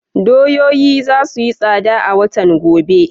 Doyoyi za su yi tsada a watan gobe.